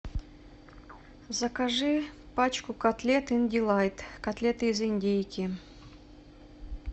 закажи пачку котлет индилайт котлеты из индейки